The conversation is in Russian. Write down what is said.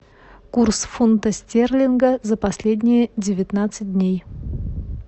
курс фунта стерлинга за последние девятнадцать дней